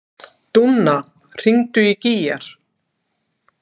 Dúnna, hringdu í Gígjar.